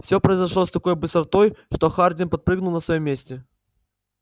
всё произошло с такой быстротой что хардин подпрыгнул на своём месте